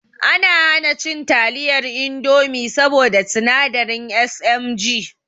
Ana hana cin taliyar indomi saboda sinadari SMG